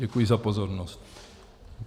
Děkuji za pozornost.